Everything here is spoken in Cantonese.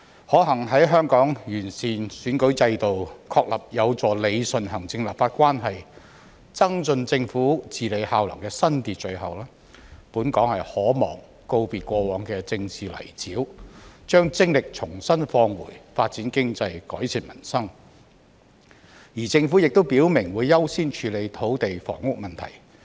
可幸在香港完善選舉制度、確立有助理順行政立法關係及增進政府治理效能的新秩序後，本港可望告別過往的政治泥沼，把精力重新放回發展經濟、改善民生，而政府亦已表明會優先處理土地房屋問題。